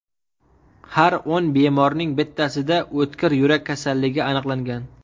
Har o‘n bemorning bittasida o‘tkir yurak kasalligi aniqlangan.